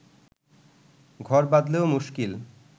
ঘর বাঁধলেও মুশকিল